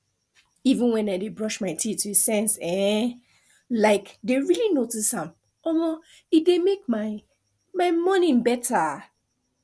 even when i dey brush my teeth with sense um like dey really notice am um e dey make my my morning better